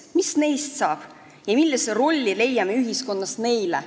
Mis neist saab ja millise rolli leiame ühiskonnas neile?